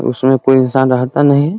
उसमें कोई इंसान रहता नहीं ।